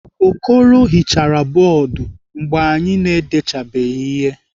Okoro hichara bọọdụ mgbe anyị na-edechabeghị ihe.